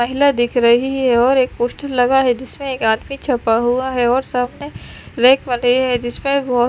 महिला दिख रही है और एक पोस्टर लगा है जिसमें एक आदमी छपा हुआ है और सामने रैक बने हैं जिसमें बहुत--